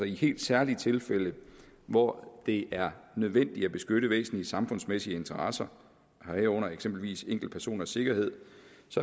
i helt særlige tilfælde hvor det er nødvendigt at beskytte væsentlige samfundsmæssige interesser herunder eksempelvis enkeltpersoners sikkerhed